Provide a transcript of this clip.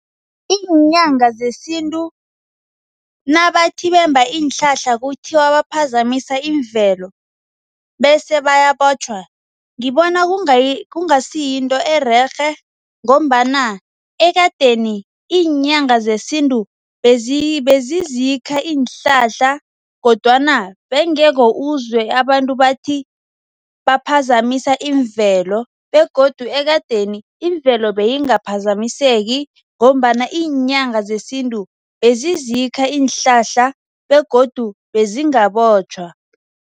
Iinyanga zesintu nabathi bemba iinhlahla kuthiwa baphazamisa imvelo bese bayabotjhwa, ngibona kungasiyinto ererhe ngombana ekadeni iinyanga zesintu bezizikha iinhlahla kodwana bewungeke uzwe abantu bathi baphazamisa imvelo begodu ekadeni imvelo beyingaphazamiseki ngombana iinyanga zesintu bezizikha iinhlahla begodu bezingabotjhwa.